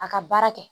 A ka baara kɛ